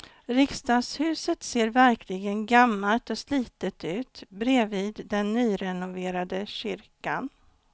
Riksdagshuset ser verkligen gammalt och slitet ut bredvid den nyrenoverade kyrkan.